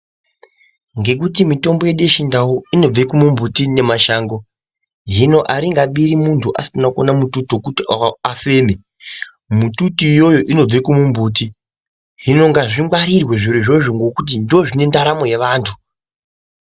Ngekuti mitombo yedu yechindau inobva mumimbiti nemashango hino aringabiri munthu asina kuona mututu wekuti afeme mututu iyoyo inobve kumumbuti hino ngazvingwarirwe zvirozvo ngekuti ndoozvine ndaramo yevanthu.